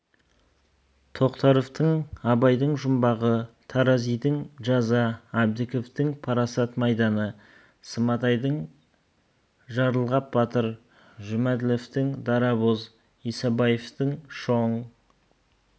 тоқтаровтың абайдың жұмбағы таразидың жаза әбдіковтің парасат майданы сматайдың жарылғап батыр жұмәділовтің дарабоз исабаевтың шоң